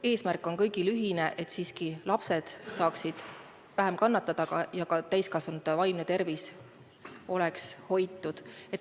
Eesmärk on kõigil ühine: et lapsed saaksid vähem kannatada ja ka täiskasvanute vaimne tervis oleks hoitud.